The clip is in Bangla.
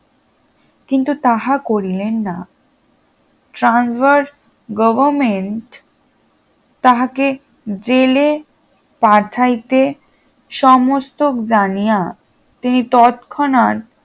কিন্তু তাহা করিলেন না ট্রানভার গভর্নমেন্ট তাহাকে জেলে পাঠাইতে সমস্তক জানিয়া তিনি তৎক্ষণাৎ